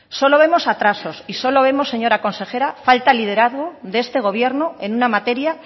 solo vemos atrasos y solo vemos señora consejera falta de liderazgo de este gobierno en una materia